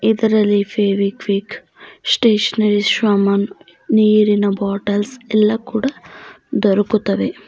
ಇದರಲ್ಲಿ Fevikwik stationery ಸಾಮಾನ ನೀರಿನ ಬಾಟಲ್ಸ್ ಎಲ್ಲ ಕೂಡ ದೋರಕುತ್ತವೆ.